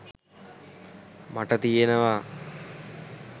මට තියෙනවා.